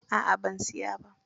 A'a ban siya ba.